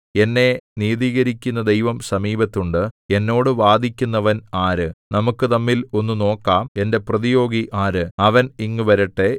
എന്നെ നീതീകരിക്കുന്ന ദൈവം സമീപത്തുണ്ട് എന്നോട് വാദിക്കുന്നവൻ ആര് നമുക്കു തമ്മിൽ ഒന്ന് നോക്കാം എന്റെ പ്രതിയോഗി ആര് അവൻ ഇങ്ങുവരട്ടെ